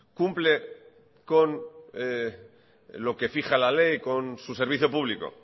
cumple lo que fija la ley con su servicio público